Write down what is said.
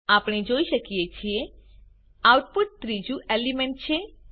આપણે જોઈ શકીએ છીએ આઉટપુટ ત્રીજું એલિમેન્ટ છે